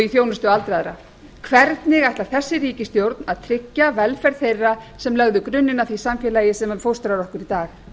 þjónustu aldraðra hvernig ætlar þessi ríkisstjórn að tryggja velferð þeirra sem lögðu grunninn að því samfélagi sem fóstrar okkur í dag